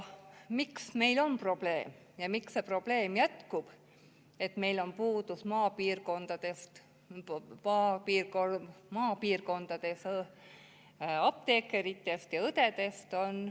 Miks meil on see probleem ja miks jätkub see probleem, et meil on maapiirkondades puudus apteekritest ja õdedest?